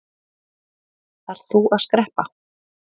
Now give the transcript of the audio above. Þarft þú að skreppa?